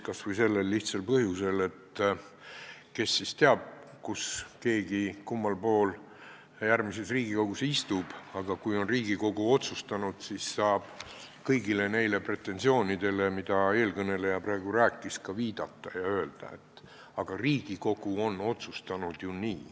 Kas või sellel lihtsal põhjusel, et kes teab, kummal pool järgmises Riigikogus keegi istub, aga kui Riigikogu on otsustanud, siis saab kõigile neile pretensioonidele, mida eelkõneleja praegu esitas, viidata ja öelda, et aga Riigikogu on ju nii otsustanud.